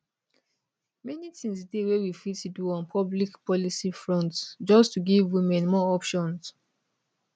many tins dey wey we fit do on public policy front just to give women more options